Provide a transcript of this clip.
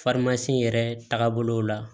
yɛrɛ tagabolo la